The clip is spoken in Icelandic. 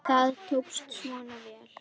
Það tókst svona vel.